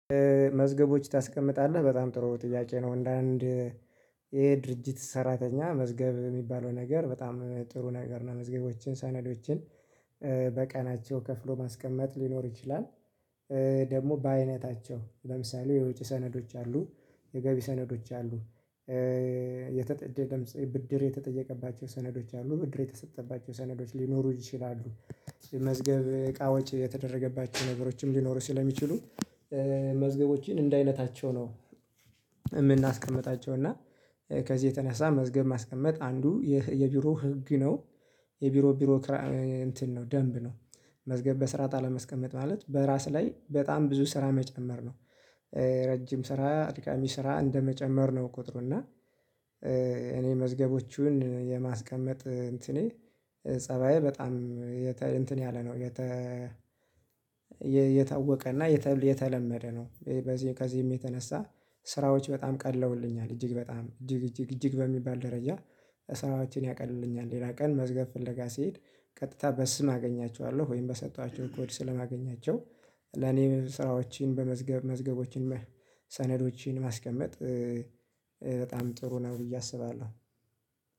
መዝገቦች ታስቀምጣለህ በጣም ጥሩ ጥያቄ ነው። አንዳንድ የድርጅት ሰራተኛ መዝገብ የሚባለው ነገር በጣም ጥሩ ነገር ነው። መዝገቦችን ሳነዶችን በቀናቸው ከፍሎ ማስቀመጥ ሊኖር ይችላል። ደግሞ በአይነታቸው ለምሳሌ የወጭ ሰነዶች አሉ የገቢ ሰነዶች አሉ። የተጠየ ደምስ ብድር የተጠየቀባቸው ሰነዶች አሉ ብድር የተሰጠባቸው ሰነዶች ሊኖሩ ይችላሉ። መዝገብ እቃዎች የተደረገባቸው ነገሮችም ሊኖሩ ስለሚችሉ መዝገቦችን እንደ አይነታቸው ነው። የምናስቀምጣቸው እና ከዚህ የተነሳ መዝገብ ማስቀመጥ አንዱ የቢሮ ህግ ነው። የቢሮ ቢሮክራ እንትን ነው ደንብ ነው። መዝገብ በስርዓት አለመስቀመጥ ማለት በራስ ላይ በጣም ብዙ ስራ መጨመር ነው። ረጅም ስራ አድካሚ ስራ እንደመጨመር ነው ቁጥሩና እኔ መዝገቦቹን የማስቀመጥ እንትኔ ፀባዬ በጣም እንትን ያለ ነው የተ የታወቀ እና የተለመደ ነው። ከዚህም የተነሳ ስራዎች በጣም ቀለውልኛል እጅግ በጣም እጅግ እጅግ እጅግ በሚባል ደረጃ ስራዎችን ሌላ ቀን መዝገብ ፍለጋ ሲሄድ ቀጥታ በስም አገኛቸዋለሁ። ወይም በሰጠኋቸው ኮድ ስለማገኛቸው ለኔ ስራዎችን በመዝገብ መዝገቦችን ሰነዶችን ማስቀመጥ በጣም ጥሩ ነው ብዬ አስባለሁ።